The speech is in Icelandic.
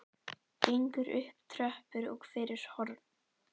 Gengur upp tröppur og fyrir horn.